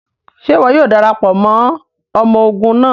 Ṣe iwọ yoo darapọ mọ ọmọ ogun naa?